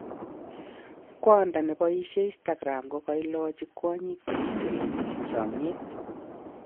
Kwando nepaishen Instagram kokalachi kwanyik chekiserete eng chamiet